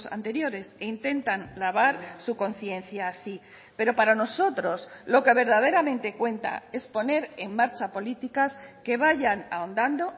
anteriores e intentan lavar su conciencia así pero para nosotros lo que verdaderamente cuenta es poner en marcha políticas que vayan ahondando